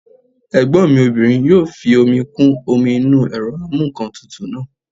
Ẹ̀gbọ́n mi obìnrin yóò fi omi kún omi inú ẹ̀rọ amúǹkantutù náà